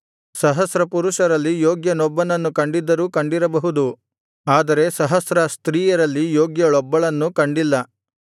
ಸಹಸ್ರ ಪುರುಷರಲ್ಲಿ ಯೋಗ್ಯನೊಬ್ಬನನ್ನು ಕಂಡಿದ್ದರೂ ಕಂಡಿರಬಹುದು ಆದರೆ ಸಹಸ್ರ ಸ್ತ್ರೀಯರಲ್ಲಿ ಯೋಗ್ಯಳೊಬ್ಬಳನ್ನೂ ಕಂಡಿಲ್ಲ